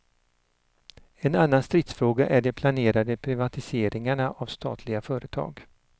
En annan stridsfråga är de planerade privatiseringarna av statliga företag.